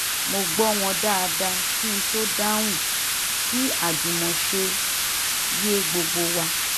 mo gbọ́ wọn dáadáa kí n tó dáhùn kí àjùmọ̀ṣe yé gbogbo wa